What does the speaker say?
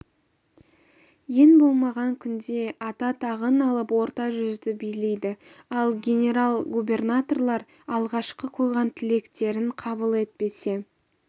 ең болмаған күнде ата тағын алып орта жүзді билейді ал генерал-губернаторлар алғашқы қойған тілектерін қабыл етпесе